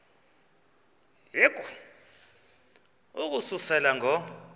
yehu ukususela ngo